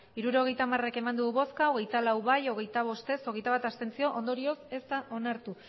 hirurogeita hamar bai hogeita lau ez hogeita bost abstentzioak hogeita bat ondorioz ez da onartu